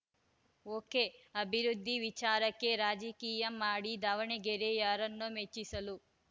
ಒಕೆಅಭಿವೃದ್ಧಿ ವಿಚಾರಕ್ಕೆ ರಾಜಕೀಯ ಮಾಡಿ ದಾವಣಗೆರೆ ಯಾರನ್ನೋ ಮೆಚ್ಚಿಸಲು